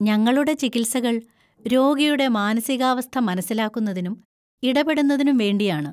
ഞങ്ങളുടെ ചികിത്സകൾ രോഗിയുടെ മാനസികാവസ്ഥ മനസ്സിലാക്കുന്നതിനും ഇടപെടുന്നതിനും വേണ്ടിയാണ്.